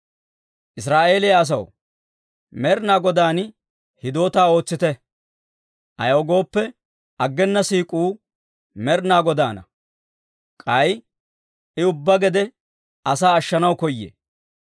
Israa'eeliyaa asaw, Med'inaa Godaan hidootaa ootsite; ayaw gooppe, aggena siik'uu Med'inaa Godaana; k'ay I ubbaa gede asaa ashshanaw koyee.